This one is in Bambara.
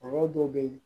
Kɔrɔ dɔw be yen